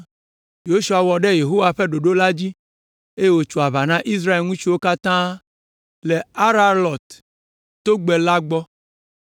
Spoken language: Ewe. Yosua wɔ ɖe Yehowa ƒe ɖoɖo la dzi, eye wòtso aʋa na Israel ŋutsuwo katã le Aralɔt togbɛ la gbɔ.